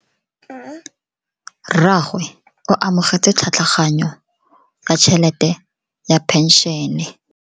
Rragwe o amogetse tlhatlhaganyo ya tšhelete ya phenšene.